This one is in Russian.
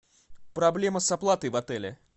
проблема с оплатой в отеле